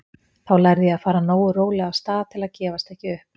Þá lærði ég að fara nógu rólega af stað til að gefast ekki upp.